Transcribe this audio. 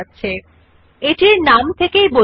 আপনি দেখতে যে নির্বাচিত টেক্সট পরিবর্তন ফন্টের